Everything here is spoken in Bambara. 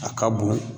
A ka bon